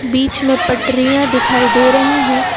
बीच में पटरियां दिखाई दे रही हैं।